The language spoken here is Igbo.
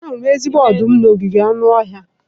Ahụrụ m ezigbo ọdụm n'ogige anụ ọhịa.